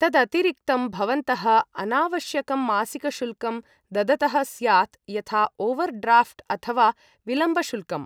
तदतिरिक्तं भवन्तः अनावश्यकं मासिकशुल्कं ददतः स्यात्, यथा ओवर्ड्राफ्ट् अथवा विलम्बशुल्कम्।